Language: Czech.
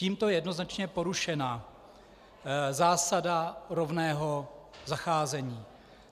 Tímto je jednoznačně porušena zásada rovného zacházení.